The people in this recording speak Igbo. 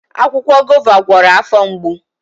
Akwụkwọ Guava gwọrọ afọ mgbo